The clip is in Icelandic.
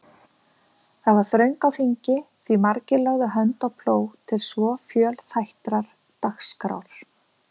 Þar var þröng á þingi, því margir lögðu hönd á plóg til svo fjölþættrar dagskrár.